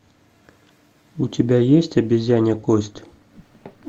у тебя есть обезьянья кость